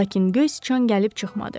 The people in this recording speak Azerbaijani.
Lakin Göy Sıçan gəlib çıxmadı.